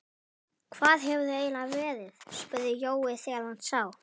Hvar hefurðu eiginlega verið? spurði Jói þegar hann sá